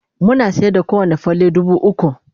muna sayar da kowani falle dubu ukwu